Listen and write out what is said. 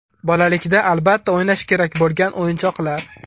Bolalikda albatta o‘ynash kerak bo‘lgan o‘yinchoqlar.